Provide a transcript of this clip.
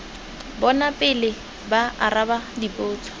bona pele ba araba dipotso